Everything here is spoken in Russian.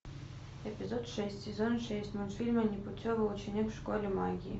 эпизод шесть сезон шесть мультфильма непутевый ученик в школе магии